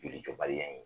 Joli jɔbaliya ye